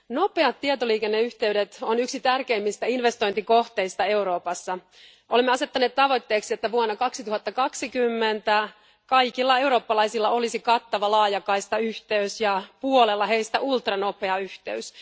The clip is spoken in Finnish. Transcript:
nopeat tietoliikenneyhteydet ovat yksi tärkeimmistä investointikohteista Euroopassa. Olemme asettaneet tavoitteeksi, että vuonna 2020 kaikilla eurooppalaisilla olisi kattava laajakaistayhteys ja puolella heistä ultranopea yhteys.